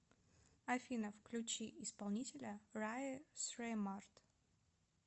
афина включи исполнителя рае среммард